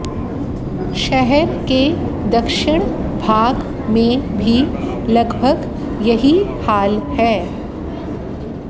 शहर के दक्षिण भाग में भी लगभग यही हाल है